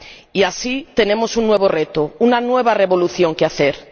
Y así tenemos un nuevo reto, una nueva revolución que hacer.